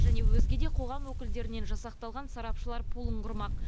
және өзге де қоғам өкілдерінен жасақталған сарапшылар пулын құрмақ